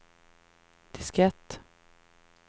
diskett